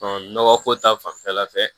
nɔgɔ ko ta fanfɛla fɛ